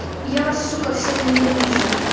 я вас сука всех ненавижу